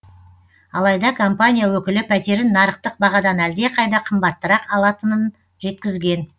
алайда компания өкілі пәтерін нарықтық бағадан әлдеқайда қымбаттырақ алатынын жеткізген